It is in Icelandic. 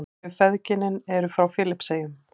Þau feðginin eru frá Filippseyjum.